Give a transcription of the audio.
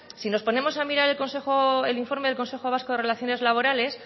si nos ponemos a mirar el informe del consejo vasco de relaciones laborales